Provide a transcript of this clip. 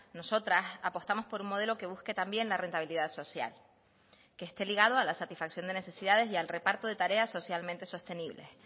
nosotras apostamos por un modelo que busque también la rentabilidad social que esté ligado a la satisfacción de necesidades y al reparto de tareas socialmente sostenibles